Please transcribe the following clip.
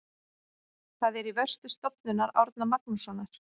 Það er í vörslu Stofnunar Árna Magnússonar.